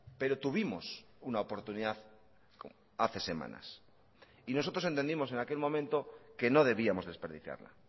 pero tuvimos una oportunidad hace semanas y nosotros entendimos en aquel momento que no debíamos desperdiciarla